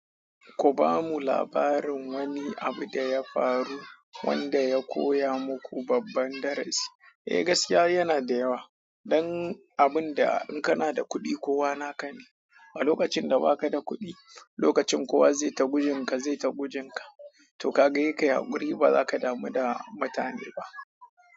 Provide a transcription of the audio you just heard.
Ku ba mu labarin wani abu da ya faru wanda ya koya muku babban darasi. Eh, gaskiya yana da yawa. Don abun da in kana da kuɗi kowa na ka ne, a lokacin da ba ka da kuɗi lokacin kowa zai ta gujinka, zai ta gujinka. To ka ga ye kayi hakuri ba za ka damu da mutane ba.